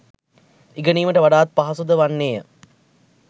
ඉගෙනීමට වඩාත් පහසු ද වන්නේ ය.